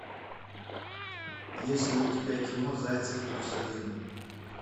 есть ли у тебя кино зайцев плюс один